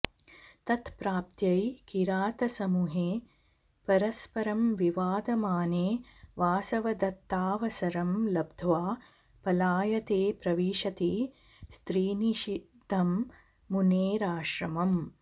तत्प्राप्त्यै किरातसमूहे परस्परं विवदमाने वासवदत्ताऽवसरं लब्ध्वा पलायते प्रविशति स्त्रीनिषिद्धं मुनेराश्रमम्